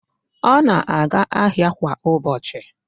Ọ na-aga ahịa kwa ụbọchị.